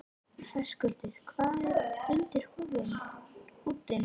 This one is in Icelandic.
Höskuldur: Hvað er undir húddinu?